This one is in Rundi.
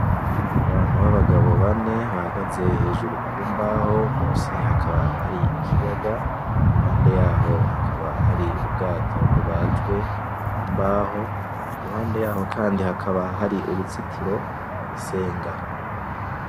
Abantu b’abagabo bane bahagaze hejuru ku mbaho, munsi hakaba hari ikiyaga, iruhande yaho habaka hari ubwato bubajwe mu mbaho, iruhande yaho kandi hakaba hari uruzitiro n’isenga.